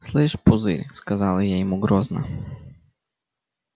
слышь пузырь сказала я ему грозно